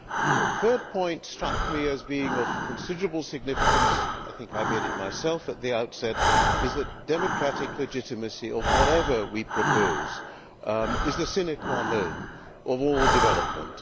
A third point struck me as being of considerable significance I think I made it myself at the outset namely that the democratic legitimacy of whatever we propose is the sine qua non of all development.